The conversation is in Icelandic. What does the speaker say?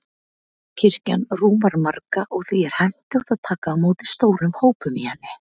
Kirkjan rúmar marga, og því er hentugt að taka á móti stórum hópum í henni.